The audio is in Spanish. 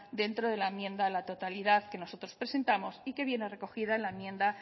dentro de la enmienda a la totalidad que nosotros presentamos y que viene recogida en la enmienda